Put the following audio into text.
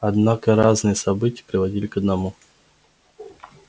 однако разные события приводили к одному